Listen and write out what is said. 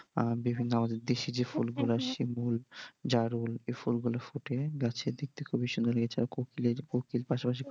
আর বিভিন্ন আমাদের দেশি যে ফুলগুলা শিমুল, জারুল এই ফুলগুলা ফোটে গাছে দেখতে খুবই সুন্দর লাগে আর কোকিল পাশাপাশি বসে।